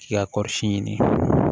K'i ka kɔɔri si ɲini